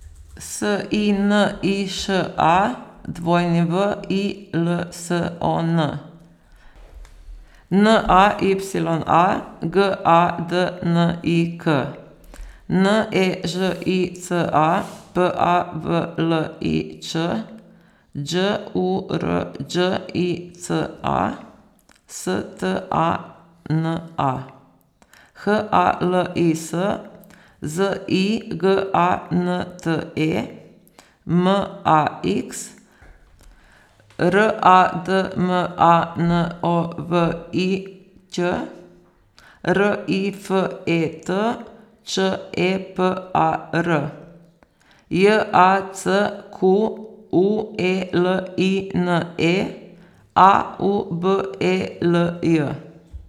S I N I Š A, W I L S O N; N A Y A, G A D N I K; N E Ž I C A, P A V L I Č; Đ U R Đ I C A, S T A N A; H A L I S, Z I G A N T E; M A X, R A D M A N O V I Ć; R I F E T, Č E P A R; J A C Q U E L I N E, A U B E L J.